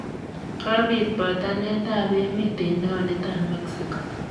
Kopit botanet ab emet en taonit ab mexico.